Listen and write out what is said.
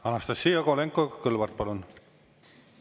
Anastassia Kovalenko-Kõlvart, palun!